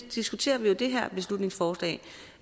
diskuteret